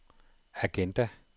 agenda